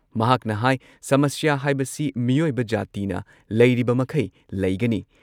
ꯃꯍꯥꯛꯅ ꯍꯥꯏ ꯁꯃꯁ꯭ꯌꯥ ꯍꯥꯏꯕꯁꯤ ꯃꯤꯑꯣꯏꯕ ꯖꯥꯇꯤꯅ ꯂꯩꯔꯤꯕ ꯃꯈꯩ ꯂꯩꯒꯅꯤ